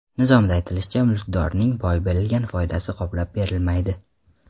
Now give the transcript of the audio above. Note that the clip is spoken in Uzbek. Nizomda aytilishicha, mulkdorning boy berilgan foydasi qoplab berilmaydi.